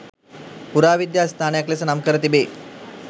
පුරාවිද්‍යාස්ථානයක් ලෙස නම්කර තිබේ.